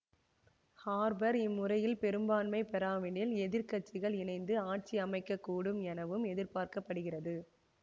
Harper இம்முறையும் பெரும்பான்மை பெறாவிடின் எதிர் கட்சிகள் இணைந்து ஆட்சியமைக்கக்கூடும் எனவும் எதிர்பார்க்க படுகிறது